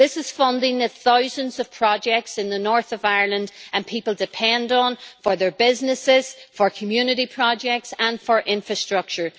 This is funding for thousands of projects in the north of Ireland that people depend on for their businesses, for community projects and for infrastructure.